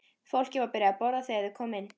Fólkið var byrjað að borða þegar þeir komu inn.